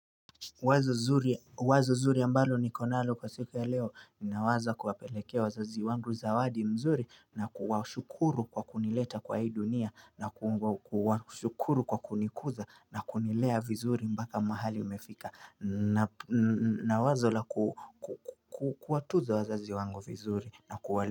Wazo zuri ambalo nikonalo kwa siku ya leo ninawaza kuwapelekea wazazi wangu zawadi mzuri na kuwa shukuru kwa kunileta kwa hii dunia na kuwa shukuru kwa kunikuza na kunilea vizuri mpaka mahali nimefika na wazo la kuwa tuza wazazi wangu vizuri na kuwa.